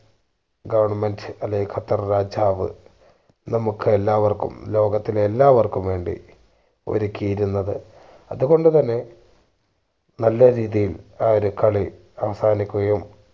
government അല്ലേൽ ഖത്തർ രാജാവ് നമ്മുക്ക് എല്ലാവർക്കും ലോകത്തിലെ എല്ലാവർക്കും വേണ്ടി ഒരുക്കിയിരുന്നത്. അതുകൊണ്ട് തന്നെ നല്ലൊരു രീതിയിൽ കളി അവസാനിക്കുകയും